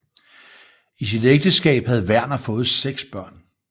I sit ægteskab havde Werner fået seks børn